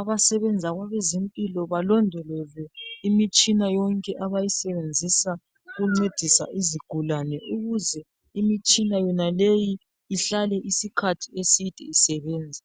abasebenza kwabazempilo balondoloze imitshina yonke abayisebenzisa ukuncedisa izigulane ukuze imitshina yonaleyi ihlale isikhathi eside isebenza.